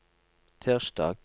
tirsdag